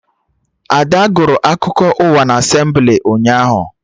Ada gụrụ akụkọ ụwa na Asemblị ụnyaahụ